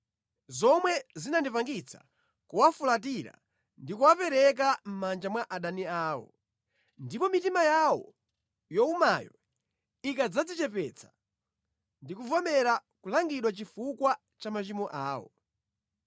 zomwe zinandipangitsa kuwafulatira ndi kuwapereka mʼmanja mwa adani awo. Ndipo mitima yawo yowumayo ikadzadzichepetsa ndi kuvomera kulangidwa chifukwa cha machimo awo,